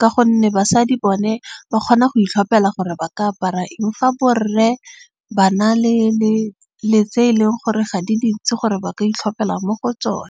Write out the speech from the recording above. Ka gonne basadi bone ba kgona go itlhopela gore ba ka apara eng. Fa borre ba na le tse e leng gore ga di dintsi gore ba ka itlhopela mo go tsone.